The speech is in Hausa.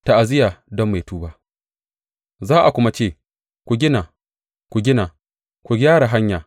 Ta’aziyya don mai tuba Za a kuma ce, Ku gina, ku gina, ku gyara hanya!